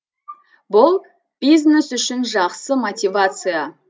бұл бизнес үшін жақсы мотивация